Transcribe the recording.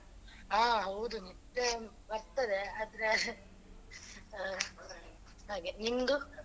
ಹ ಹೌದು ನಿದ್ದೆ ಬರ್ತದೆ ಆದ್ರೆ ಆ ಹಾಗೆ ನಿಮ್ದು